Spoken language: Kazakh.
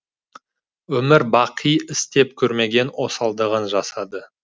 өмір бақи істеп көрмеген осалдығын жасады